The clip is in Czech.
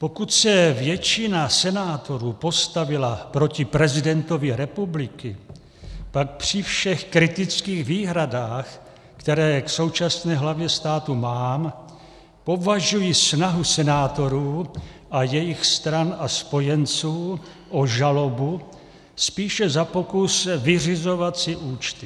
Pokud se většina senátorů postavila proti prezidentovi republiky, pak při všech kritických výhradách, které k současné hlavě státu mám, považuji snahu senátorů a jejich stran a spojenců o žalobu spíše za pokus vyřizovat si účty.